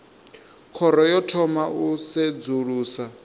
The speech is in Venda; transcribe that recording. khoro yo thoma u sedzulusa